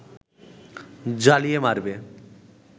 জ্বালিয়ে মারবে